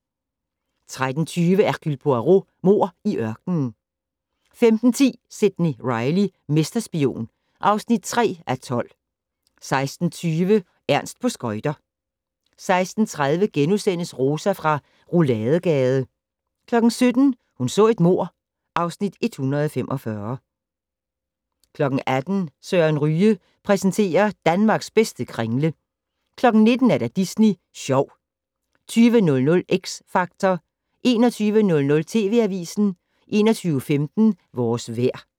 13:20: Hercule Poirot: Mord i ørkenen 15:10: Sidney Reilly - mesterspion (3:12) 16:20: Ernst på skøjter 16:30: Rosa fra Rouladegade * 17:00: Hun så et mord (Afs. 145) 18:00: Søren Ryge præsenterer: Danmarks bedste kringle 19:00: Disney Sjov 20:00: X Factor 21:00: TV Avisen 21:15: Vores vejr